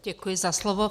Děkuji za slovo.